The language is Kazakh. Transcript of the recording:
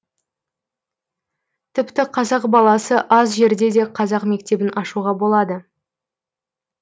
тіпті қазақ баласы аз жерде де қазақ мектебін ашуға болады